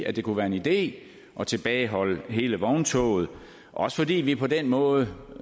at det kunne være en idé at tilbageholde hele vogntoget også fordi vi på den måde